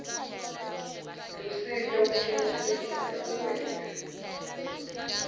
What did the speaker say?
lusito kucinisekisa kuwenta